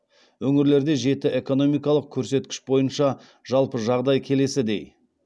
өңірлерде жеті экономикалық көрсеткіш бойынша жалпы жағдай келесідей